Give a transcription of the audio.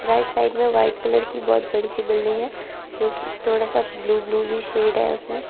Right side में white colour की बहोत बड़ी सी बिल्डिंग है जो कि थोड़ा सा ब्लू ब्लू भी शेड है उसमें।